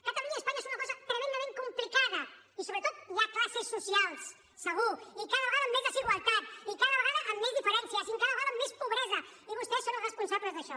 catalunya i espanya són una cosa tremendament complicada i sobretot hi ha classes socials segur i cada vegada amb més desigualtat i cada vegada amb més diferències i cada vegada amb més pobresa i vostès són els responsables d’això